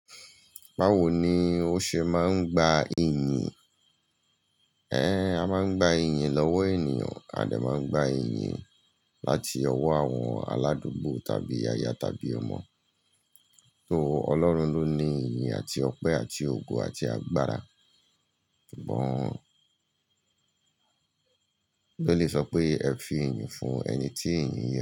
Báwo ni ó ṣe máa ń gba iyìn? Ẹn, a máa ń gba iyìn lọ́wọ́ ènìyàn, a dẹ̀ máa ń gba iyìn láti ọwọ́ àwọn aládùúgbò tàbí aya tàbí ọmọ. Tó Ọlọ́run ló ní iyìn àti ọpẹ́ àti ògo àti agbára. Sugbon bibeli sọ pé ẹ fi iyìn fún ẹni tí iyìn yẹ.